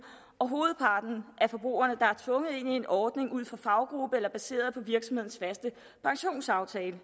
og hovedparten af forbrugerne er tvunget ind i en ordning ud fra faggruppe eller baseret på virksomhedens faste pensionsaftale